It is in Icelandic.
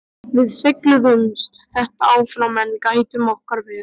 Við seigluðumst þetta áfram en gættum okkar vel.